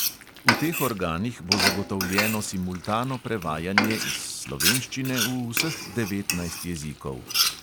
V teh organih bo zagotovljeno simultano prevajanje iz slovenščine v vseh devetnajst jezikov.